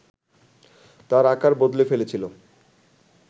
তার আকার বদলে ফেলেছিল